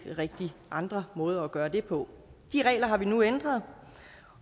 andre måder at gøre det på de regler har vi nu ændret